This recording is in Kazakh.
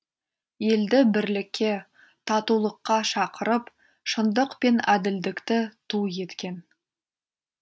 елді бірлікке татулыққа шақырып шындық пен әділдікті ту еткен